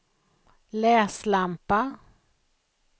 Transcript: läslampa